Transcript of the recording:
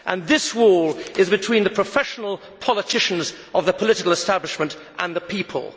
This wall is between the professional politicians of the political establishment and the people.